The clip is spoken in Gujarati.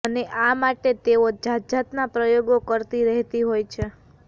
અને આ માટે તેઓ જાતજાતના પ્રયોગો કરતી રહેતી હોય છે